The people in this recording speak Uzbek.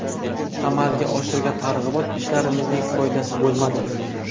Amalga oshirgan targ‘ibot ishlarimizning foydasi bo‘lmadi.